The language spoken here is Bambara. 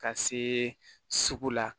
Ka see sugu la